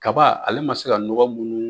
Kaba ale man se ka nɔgɔ munnu